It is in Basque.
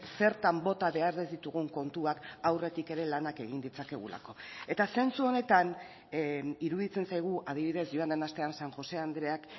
zertan bota behar ez ditugun kontuak aurretik ere lanak egin ditzakegulako eta zentzu honetan iruditzen zaigu adibidez joan den astean san josé andreak